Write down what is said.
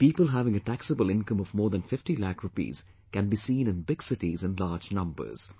People having a taxable income of more than 50 lakh rupees can be seen in big cities in large numbers